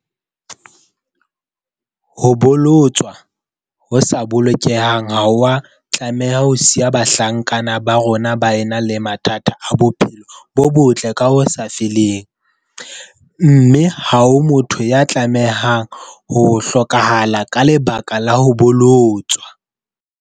Ho bolo-tswa ho sa bolokehang ha ho a tlameha ho siya bahlankana ba rona ba ena le mathata a bophelo bo botle ka ho sa feleng, mme ha ho motho ya tlameha ho hlokahala ka leba-ka la ho bolotswa.